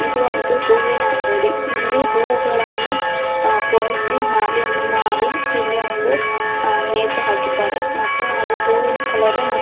ಇದು ಒಂದು ಹೂವಿನ ಅಂಗಡಿ ಇಲ್ಲಿ ಹೂಗಳನ್ನು ಪೋಣಿಸಿ ಮಾಲೆಯನ್ನು ಮಾಡಿ ಇಲ್ಲಿ ಒಂದು ನೇತು ಹಾಕಿದ್ದಾರೆ ಮತ್ತು ಹೂವಿನ ಕಲರ್ --